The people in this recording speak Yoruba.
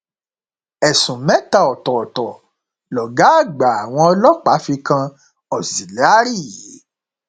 ẹsùn mẹta ọtọọtọ lọgá àgbà lọgá àgbà àwọn ọlọpàá fi kan auxilliary